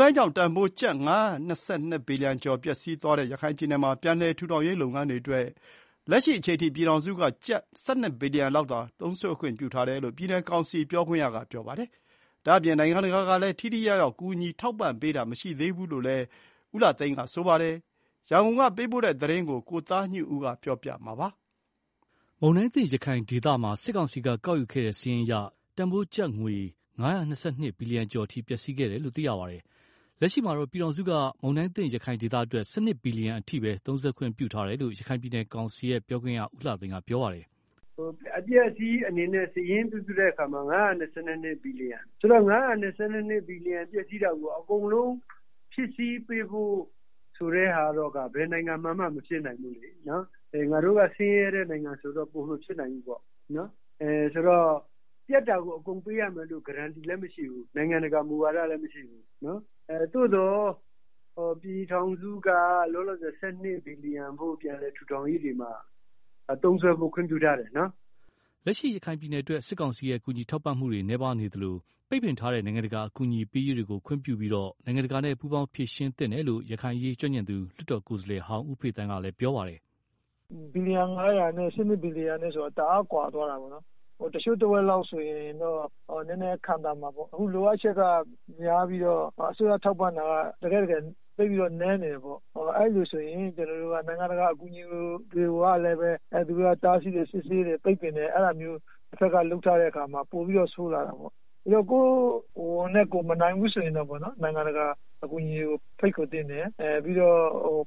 တိုင်းကြောင့်တန်ဖိုး ကျပ် ၅၂၂ ဘီလီယံကျော်ပျက်စီးသွားတဲ့ ရခိုင်ပြည်နယ်မှာ ပြန်လည် ထူထောင်ရေးလုပ်ငန်းတွေအတွက် လက်ရှိအချိန်ထိ ပြည်ထောင်စုက ကျပ် ၁၂ဘီလီယံ လောက်သာ သုံးစွဲခွင့်ပြုထားတယ်လို့ ပြည်နယ်ကောင်စီပြောခွင့်ရက ပြောပါတယ်။ ဒါ့အပြင် ရခိုင်ပြည်နယ်ကို နိုင်ငံတကာကလည်း ထိထိရောက်ရောက် ကူညီထောက်ပံ့ပေးတာမရှိသေးဘူးလို့လည်း ပြည်နယ်ကောင်စီ ပြောခွင့်ရ ဦးလှသိန်း ကပြောပါတယ်။ ရန်ကုန်ကပေးပို့တဲ့သတင်း ကိုသားညွန့်ဦး ပြောပြမှာပါ။ မုန်တိုင်းသင့် ရခိုင်ဒေသမှာ စစ်ကောင်စီက ကောက်ယူခဲ့တဲ့ စာရင်းအရ တန်ဖိုးကျပ်ငွေ ၅၂၂ ဘီလီယံကျော် အထိပျက်စီးခဲ့တယ်လို့ သိရပါတယ်။ လက်ရှိမှာတော့ ပြည်ထောင်စုက မုန်တိုင်းသင့် ရခိုင် ဒေသအတွက် ၁၂ ဘီလီယံအထိသုံးစွဲခွင့်ပြုထားတယ်လို့ ရခိုင်ပြည်နယ်ကောင်စီပြောခွင့်ရ ဦးလှသိန်းကပြောပါတယ်။ “ အပျက်အစီးအနေနဲ့ စာရင်းပြုစုတဲ့အခါမှာ ၅၂၂ဘီလီယံဆိုတော့ ၅၂၂ဘီလီယံပျက်စီး တာကို အကုန်လုံး ဖြည့်ဆည်းပေးဖို့ ဟာကတော့ဘယ်နိုင်ငံမှာက မဖြစ်နိုင်ဘူးလေ၊ ငါတို့က ဆင်းရဲတဲ့ နိုင်ငံဆိုတော့ ပိုမဖြစ်နိုင် ဘူးပေါ့၊ ဆိုတော့ ပျက်တာကို အကုန်ပေးရမယ်လို့ Guaranteed လည်းမရှိဘူး။ နိုင်ငံတကာမူဝါဒလည်း မရှိဘူး၊ သို့သော် ပြည်ထောင်စုက လော လောဆယ် ၁၂ဘီလီယံဖို့ ပြန်လည်ထူထောင်ရေးတွေမှာ သုံးစွဲဖို့ ခွင့်ပြုထားတယ်နော်။” လက်ရှိရခိုင်ပြည်နယ်အတွက် စစ်ကောင်စီရဲ့ ကူညီထောက်ပံ့မှုတွေနည်းပါးနေသလို ပိတ်ပင်ထားတဲ့ နိုင်ငံတကာအကူအညီပေးရေးတွေကိုခွင့်ပြုပြီးတော့ နိုင်ငံတကာနဲ့ ပူးပေါင်းဖြေရှင်းသင့်တယ်လို့ ရခိုင်အရေး ကျွမ်းကျင်သူ လွတ်တော်ကိုယ်စားလှယ်ဟောင်း ဦးဖေသန်းက ပြောပါတယ်။ “ ဘီလီယံ ၅ဝဝနဲ့ ၁၂ဘီလီယံဆိုတာ တအားကွာတယ်၊ တချို့တဝက်လောက်ဆိုရင်တော့ နည်းနည်းခံသာ မှာပေါ့ အခုလိုအပ်ချက်က များပြီးတော့ အစိုးရ ထောက်ပံ့တာက သိပ်နည်း နေတယ်၊ နို်င်ငံတကာ အကူအညီတွေကိုလည်း သူတို့က တားစီး စစ်ဆေးပိတ်ပင်တယ်။ အဲတာမျိုး တဖက်က လုပ်ထားတဲ့အခါမှာ ပိုပြီးတော့ ဆိုးလာတာပေါ့၊ ကိုယ့်ငွေနဲ့ ကိုယ်မနိုင်ဘူးဆိုရင်တောင် နို်င်ငံတကာအကူအညီတွေကို ဖိတ်ခေါ်သင့်တယ်၊ ပြီးတော့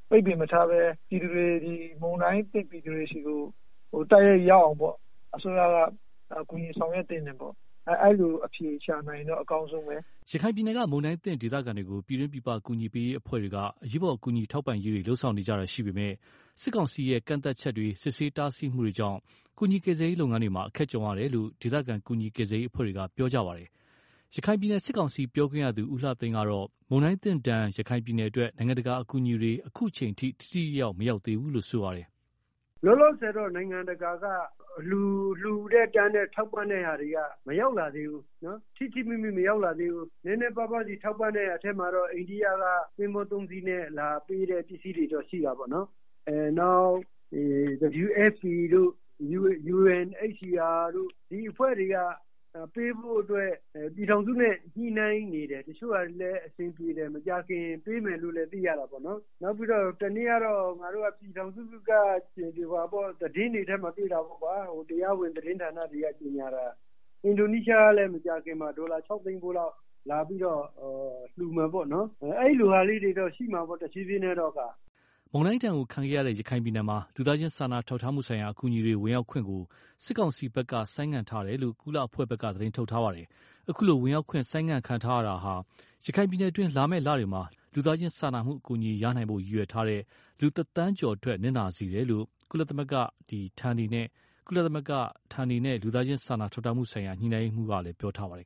ပိတ်ပင်မထားပဲ ပြည်သူတွေ၊ မုန်တိုင်းသင့် ပြည်သူတွေဆီကို တိုက်ရိုက် ရောက်အောင် အစိုးရ ကူညီ ဆောင်ရွက်သင့်တယ် အဲလို အဖြေရှာနိုင်ရင်တော့ အကောင်းဆုံးပဲ။ ” ရခိုင်ပြည်နယ်က မုန်တိုင်းသင့်ဒေသခံတွေကို ပြည်တွင်းပြည်ပ ကူညီပေးရေးအဖွဲ့တွေက အရေးပေါ် ကူညီထောက်ပံ့ရေးတွေ လုပ်ဆောင်နေကြတာရှိပေမယ့် စစ်ကောင်စီရဲ့ ကန့်သတ်ချက် စစ်ဆေး တားဆီးမှုတွေကြောင့် ကူညီကယ်ဆယ်ရေးလုပ်ငန်းတွေ မှာအခက်ကြုံနေရ တယ်လို့ ဒေသခံ ကူညီကယ်ဆယ်ရေးအဖွဲ့တွေကပြောဆိုကြပါတယ်။ ရခိုင်ပြည်နယ် စစ်ကောင်စီပြောခွင့်ရ ဦးလှသိန်းကတော့ မုန်တိုင်းဒဏ်သင့် ရခိုင်ပြည်နယ် အတွက် နိုင်ငံတကာအကူအညီတွေ အခုအချိန်ထိ ထိထိရောက်ရောက် မရောက်သေးဘူးလို့ပြောပါတယ်။ “ လောလောဆယ်တော့ နိုင်ငံတကာက လှူတဲ့၊ တန်းတဲ့ ထောက်ပံ့တဲ့ဟာတွေက ထိထိမိမိ မရောက်လာ သေးဘူး၊ နည်နည်းပါးပါးစီထောက်ပံ့တဲ့ ထဲမှာတော့ အန္ဒိယက သင်္ဘော၃စီးနဲ့ လာပေးတဲ့ ပစ္စည်းတွေတော့ ရှိတာပေါ့နော်၊ နောက် WFP တို့ UNHCR တို့ ဒီအဖွဲ့တွေက ပေးဖို့အတွက် ပြည်ထောင်စုနဲ့ ညှိနှိုင်းနေတယ်။ တချို့ဟာတွေလည်းအဆင်ပြေတယ်။ မကြာ ခင်ပေး မယ်လို့လည်း သိရတာပေါ့နော်၊ နောက်ပြီးတော့ ပြည်ထောင်စုက သတင်းတွေ ထဲမှာ တွေ့တာပေါ့ကွာ။ တရားဝင် သတင်းဌာနာတွေက ကြေငြာတာ အင်းဒိုနီးရှား ကလည်း မကြာခင်မှာ ဒေါ်လာ ၆ဝဝဝဝဖိုးလောက် လာပြီးတော့ လှူမယ်ပေါ့နော်၊ အဲလိုဟာလည်းတွေ တော့ရှိမှာတော့ တဖြေးဖြေးနဲ့။” မုန်တိုင်းဒဏ်ခံခဲ့ရတဲ့ ရခိုင်ပြည်နယ်မှာ လူသားချင်းစာနာ ထောက်ထားမှုဆိုင်ရာ အကူအညီတွေ ဝင်ရောက်ခွင့် စစ်ကောင်စီဖက်က ဆိုင်းငံ့ထားတယ်လို့ ကုလအဖွဲ့က သတင်းထုတ်ပြန်ထားပါတယ်။ အခုလို ဝင်ရောက်ခွင့် ဆိုင်းငံ့ခံထားရတာဟာ ရခိုင်ပြည်နယ်အတွင်း လာမယ့်လတွေမှာ လူသားချင်းအကူအညီ ရရှိနိုင်ဖို့ ရည်ရွယ်ထားတဲ့ လူ ၁ သန်းကျော်အတွက် နစ်နာစေတယ်လို့ ကုလသမဂ္ဂဌာနေနဲ့ လူသားချင်းစာနာ ထောက်ထားမှုဆိုင်ရာ ညှိနှိုင်းရေးမှူးကလည်း ပြောထားပါတယ်